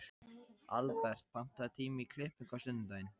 Albert, pantaðu tíma í klippingu á sunnudaginn.